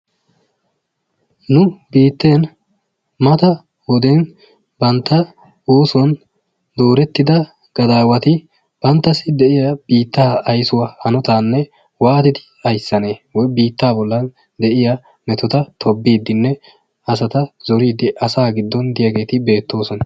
Nu biitten mata wode bantta oosuwan doorettida gadaawati banttassi de'iya biittaa aysuwa hanotaanne waatidi ayssanee woy biittaa bollan de'iya metota tobbiiddinne asata zoriiddi asaa giddon de'iyageeti beettoosona.